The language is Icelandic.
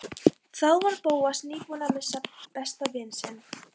Þá var Bóas nýbúinn að missa besta vin sinn.